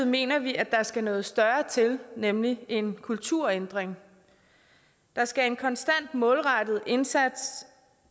mener vi at der skal noget større til nemlig en kulturændring der skal en konstant målrettet indsats